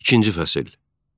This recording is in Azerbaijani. İkinci fəsil.